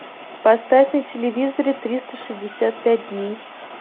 поставь на телевизоре триста шестьдесят пять дней